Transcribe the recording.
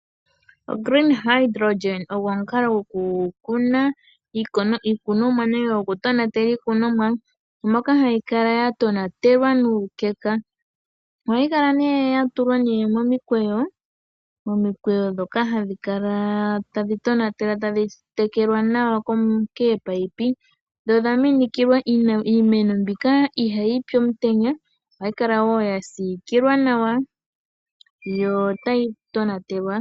OGreen Hydrogen ogo omukalo gwokukuna iikunomwa nenge gwokutonatela iikunomwa moka hayi kala ya tonatelwa nuukeka. Ohayi kala nee ya tulwa momikweyo. Momikweyo ndhoka hadhi kala tadhi tonatelwa tadhi tekelwa nawa koopayipi, dho dha minikilwa. Iimeno mbika ihayi pi omutenya ohayi kala wo ya siikilwa nawa, yo tayi tonatelwa.